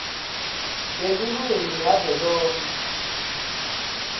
yelulwimi yavelonkhe